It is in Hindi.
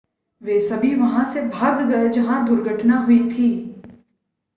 वे सभी वहां से भाग गए जहां दुर्घटना हुई थी